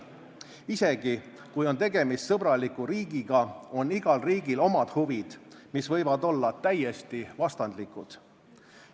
Isegi kui on tegemist sõbraliku riigiga, on igal riigil omad huvid, mis võivad olla täiesti vastandlikud.